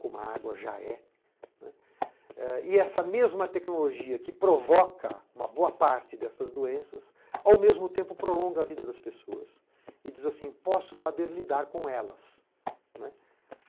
como a água já é. E essa mesma tecnologia que provoca uma boa parte dessas doenças, ao mesmo tempo prolonga a vida das pessoas e diz assim, posso saber lidar com elas.